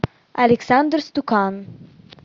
александр стукан